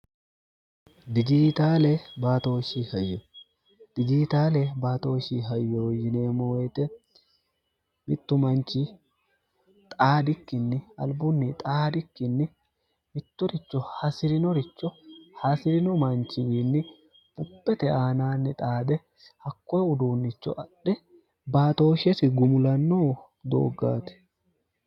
dijibtooshdijiitaale baatooshi hayo yinee moite mittu manchi xaadikkinni albunni xaadikkinni mittoricho hasi'rinoricho hasi'rino manchiyiinni buphete aanaanni xaadhe hakkoe uduunnicho adhe baatooshshesi gumulanno dooggaati